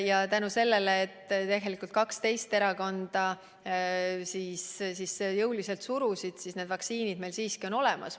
Ja tänu sellele, et tegelikult kaks teist erakonda jõuliselt surusid, on need vaktsiinid meil siiski olemas.